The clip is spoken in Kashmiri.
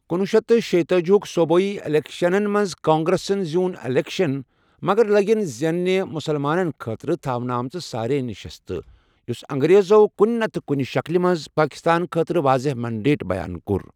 کنۄہ شیتھ شٕیتأجی ہٕک صوبٲئی اِلیکشنَن منٛز، کانگریسن زیوٗن اِلیکشن مگر لیگن زینہِ مسلمانن خٲطرٕ تھونہٕ آمٕژ سٲرے نشستہٕ، یُس انگریزو کُنہِ نتہٕ کُنہِ شکٕلہِ منٛز پٲکستان خٲطرٕ واضح مینڈیٹ بیان کوٚر۔